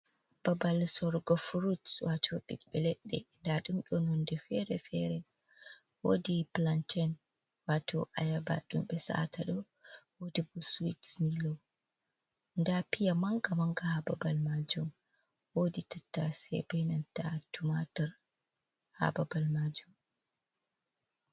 babal sorogo furut. Wato bibbe leɗɗe da dumdo nonde fere-fere. Wodi pulanten wato ayaba dumbe saata do wodi bo siwit millo. nɗa piya manga manga ha babal majum. Wodi tattase benanta tumatur ha babal majum.